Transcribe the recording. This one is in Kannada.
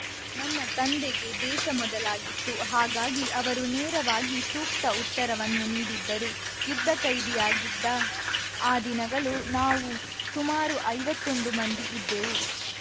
ನನ್ನ ತಂದೆಗೆ ದೇಶ ಮೊದಲಾಗಿತ್ತು ಹಾಗಾಗಿ ಅವರು ನೇರವಾಗಿ ಸೂಕ್ತ ಉತ್ತರವನ್ನು ನೀಡಿದ್ದರು ಯುದ್ಧ ಖೈದಿಯಾಗಿದ್ದ ಆ ದಿನಗಳು ನಾವು ಸುಮಾರು ಐವತ್ತೊಂದು ಮಂದಿ ಇದ್ದೆವು